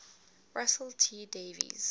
russell t davies